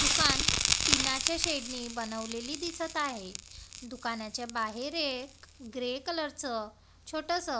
दुकान टिना च्या शेड ने बनवलेली दिसत आहे दुकानाच्या बाहेर एक ग्रे कलर च छोटंसं --